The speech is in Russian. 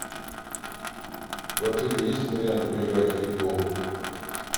в отеле есть вариант поиграть в пейнтбол